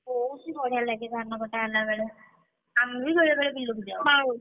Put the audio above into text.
ବହୁତ୍ ହିଁ ବଢିଆ ଲାଗେ ଧାନ କଟା ହେଲାବେଳେ ଆମେ ବି ବେଳେ ବେଳେ ବିଲକୁଯାଉ ।